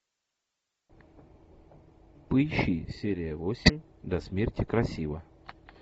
поищи серия восемь до смерти красива